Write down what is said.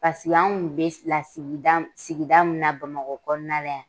anw tun bɛ lasigida sigida min na bamakɔ kɔnɔna la yan